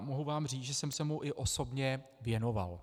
A mohu vám říct, že jsem se mu i osobně věnoval.